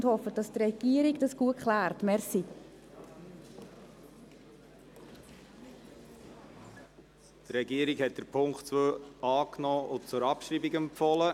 Die Regierung hat den Punkt 2 angenommen und zur Abschreibung empfohlen.